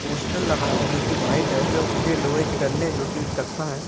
Poster लगा हुआ है जो की व्हाइट है जो उसके लोहे के डंडे है जो की वे कत्था है।